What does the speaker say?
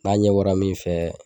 N'a ɲɛ bɔra min fɛ